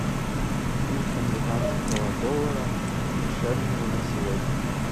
курс американского доллара к шиллингу на сегодня